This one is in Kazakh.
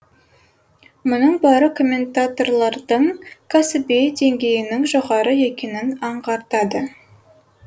мұның бәрі комментаторлардың кәсіби деңгейінің жоғары екенін аңғартады